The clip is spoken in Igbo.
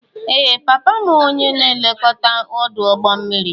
Ee! Papa m bụ onye na-elekọta ọdụ̀ ụgbọ mmiri.